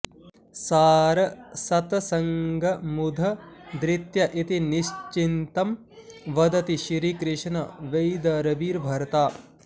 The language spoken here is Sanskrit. सार सतसंगमुद् धृत्य इति निश्चिंतं वदति श्रीकृष्ण वैदर्भिभर्ता